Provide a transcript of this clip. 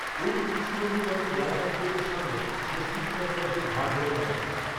ওই পুলিশকর্মীই হয়তো বারাসত কোর্টের সামনে ষষ্ঠী দীপঙ্করদের ঘাড় ধরে নামাচ্ছিলেন